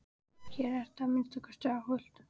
Hér ertu að minnsta kosti óhult.